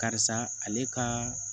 Karisa ale ka